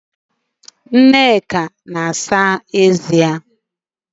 Nneka na-asa eze ya